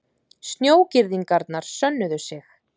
Snjógirðingarnar sönnuðu sig